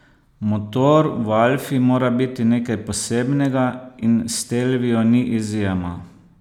Motor v alfi mora biti nekaj posebnega in stelvio ni izjema.